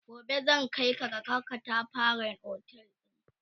gobe zan Kai ka kaga ƙatafaren otel ɗin